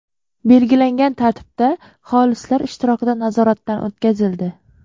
belgilangan tartibda xolislar ishtirokida nazoratdan o‘tkazildi.